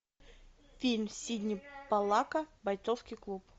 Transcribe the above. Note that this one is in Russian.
фильм сидни поллака бойцовский клуб